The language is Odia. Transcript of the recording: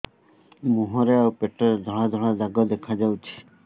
ମୁହଁରେ ଆଉ ପେଟରେ ଧଳା ଧଳା ଦାଗ ଦେଖାଯାଉଛି